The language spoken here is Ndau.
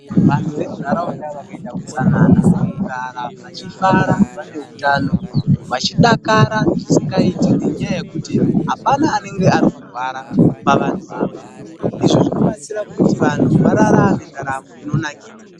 Vanhu vamunharaunda vakaita utsanana, vakararama vachifara vane utano, vachidakara zvisingaite nenyaya yekuti hapana anenge arikurwara pavanhu ava. Izvi zvinobatsira kuti vanhu vararame ndaramo inonakidza.